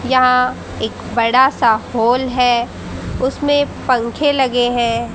यहां एक बड़ा सा हॉल है उसमें पंखे लगे हैं।